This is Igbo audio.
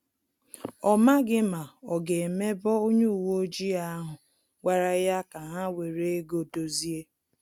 Ọ maghị ma ọ ga emebo onye uwe ojii ahụ gwara ya ka ha were ego dozie